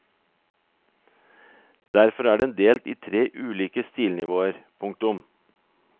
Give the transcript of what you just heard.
Derfor er den delt i tre ulike stilnivåer. punktum